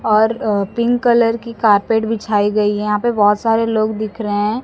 और अ pink colour की कारपेट बिछाई गई है यहां पे बहोत सारे लोग दिख रहे हैं।